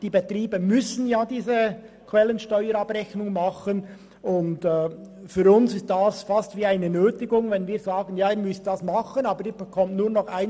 Die Betriebe müssen diese Quellensteuerabrechnung machen, und für uns ist es beinahe eine Nötigung, wenn sie nur noch 1 Prozent erhalten.